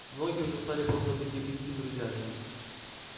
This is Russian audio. многие уже стали просто-таки близкими друзьями